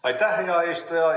Aitäh, hea eesistuja!